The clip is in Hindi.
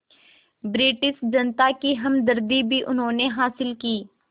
रिटिश जनता की हमदर्दी भी उन्होंने हासिल की